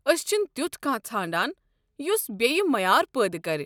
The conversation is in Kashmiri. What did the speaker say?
أسۍ چھِن تیُتھ کانٛہہ ژھانٛڈان یُس بییہ معیار پٲدٕ كرِ۔